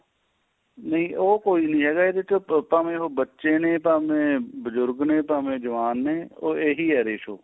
ਨਹੀਂ ਉਹ ਕੋਈ ਨੀ ਹੈਗਾ ਇਹਦੇ ਚ ਭਾਵੇ ਉਹ ਬੱਚੇ ਨੇ ਭਾਵੇ ਬਜੁਰਗ ਨੇ ਭਾਵੇ ਜਵਾਨ ਨੇ ਉਹ ਇਹੀ ਏ ratio